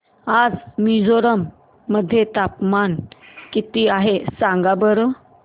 आज मिझोरम मध्ये तापमान किती आहे सांगा बरं